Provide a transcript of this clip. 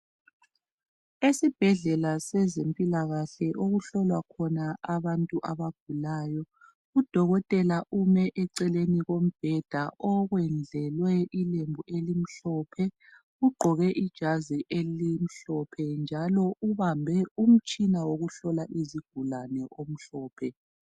Esibhedlela sezempilakahle okuhlolwa khona abantu abagulayo, udokotela ume eceleni kombheda okwendlelwe ilembu elimhlophe. Ugqoke ijazi elimhlophe njalo ubambe umtshina wokuhlola izigulani omhlophe.